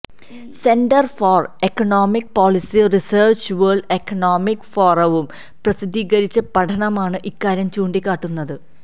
centre for economic policy റിസര്ച്ചും world economic ഫോറവും പ്രസിദ്ധീകരിച്ച പഠനമാണ് ഇക്കാര്യം ചൂണ്ടിക്കാട്ടുന്നത്